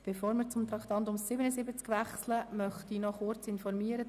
Bevor wir zum Traktandum 77 wechseln, möchte ich Sie kurz wie folgt informieren: